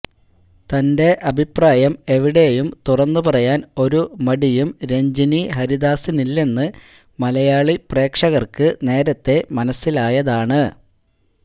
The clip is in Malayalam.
തന്റെ അഭിപ്രായം എവിടെയും തുറന്നു പറയാന് ഒരു മടിയും രഞ്ജിനി ഹരിദാസിനില്ലെന്ന് മലയാളി പ്രേക്ഷകര്ക്ക് നേരത്തെ മനസ്സിലായതാണ്